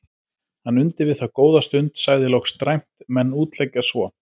Hann undi við það góða stund, sagði loks dræmt:-Menn útleggja svo.